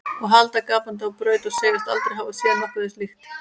Og halda gapandi á braut og segjast aldrei hafa séð nokkuð þessu líkt.